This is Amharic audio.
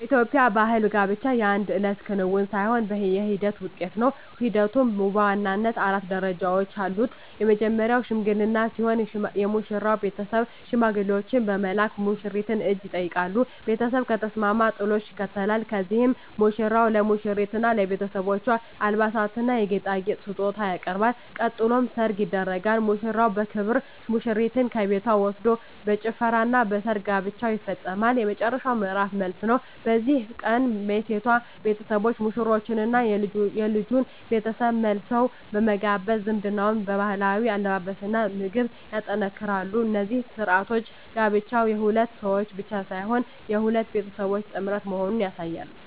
በኢትዮጵያ ባሕል ጋብቻ የአንድ እለት ክንውን ሳይሆን የሂደት ውጤት ነው። ሂደቱም በዋናነት አራት ደረጃዎች አሉት። መጀመርያው "ሽምግልና" ሲሆን፣ የሙሽራው ቤተሰብ ሽማግሌዎችን በመላክ የሙሽሪትን እጅ ይጠይቃሉ። ቤተሰብ ከተስማማ "ጥሎሽ" ይከተላል፤ በዚህም ሙሽራው ለሙሽሪትና ለቤተሰቦቿ የአልባሳትና የጌጣጌጥ ስጦታ ያቀርባል። ቀጥሎ "ሰርግ" ይደረጋል፤ ሙሽራው በክብር ሙሽሪትን ከቤቷ ወስዶ በጭፈራና በድግስ ጋብቻው ይፈጸማል። የመጨረሻው ምዕራፍ "መልስ" ነው። በዚህ ቀን የሴቷ ቤተሰቦች ሙሽሮቹንና የልጁን ቤተሰብ መልሰው በመጋበዝ ዝምድናውን በባህላዊ አለባበስና ምግብ ያጠናክራሉ። እነዚህ ሥርዓቶች ጋብቻው የሁለት ሰዎች ብቻ ሳይሆን የሁለት ቤተሰቦች ጥምረት መሆኑን ያሳያሉ።